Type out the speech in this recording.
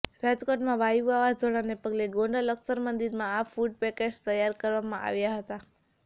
રાજકોટમાં વાયુ વાવાઝોડાને પગલે ગોંડલ અક્ષર મંદિરમાં આ ફૂડ પેકેટ્સ તૈયાર કરવામાં આવ્યાં હતાં